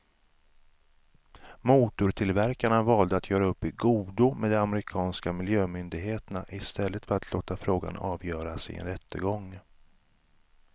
Motortillverkarna valde att göra upp i godo med de amerikanska miljömyndigheterna i stället för att låta frågan avgöras i en rättegång.